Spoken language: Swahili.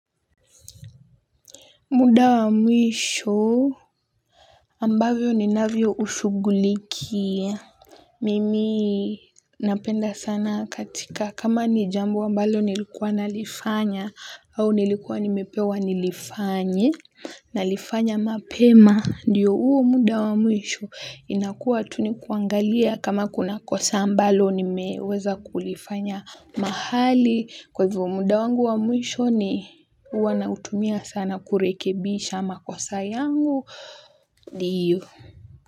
Muda wa mwisho ambavyo ninavyo ushughulikia mimi napenda sana katika kama ni jambo ambalo nilikuwa nalifanya au nilikuwa nimepewa nilifanye nalifanya mapema ndiyo uo muda wa mwisho inakuwa tu nikuangalia kama kuna kosa ambalo nimeweza kulifanya mahali kwa hivo muda wangu wa mwisho ni wanautumia sana kurekebisha makosa yangu ndiyo.